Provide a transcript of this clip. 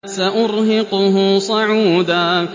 سَأُرْهِقُهُ صَعُودًا